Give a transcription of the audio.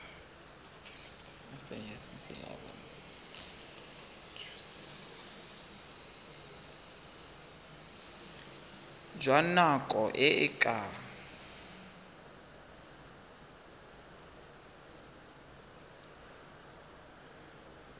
jwa nako e e ka